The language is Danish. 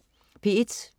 P1: